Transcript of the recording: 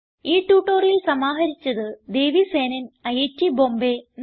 ഈ ട്യൂട്ടോറിയൽ സമാഹരിച്ചത് ദേവി സേനൻ ഐറ്റ് ബോംബേ